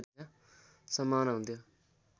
सम्भावना हुन्थ्यो